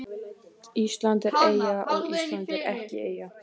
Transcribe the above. Ísland er eyja og Ísland er ekki eyja